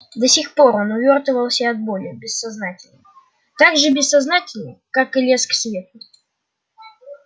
до сих пор он увёртывался от боли бессознательно так же бессознательно как и лез к свету